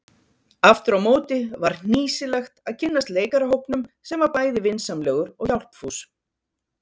Afturámóti var hnýsilegt að kynnast leikarahópnum sem var bæði vinsamlegur og hjálpfús.